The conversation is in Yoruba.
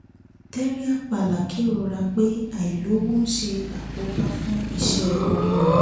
terry apala kérora pé àìlọ́wọ̀ ń ṣe àkóbá fún iṣẹ́ orin òun